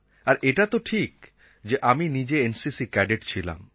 আর এটাতো ঠিক যে আমি নিজে এনসিসি ক্যাডেট ছিলাম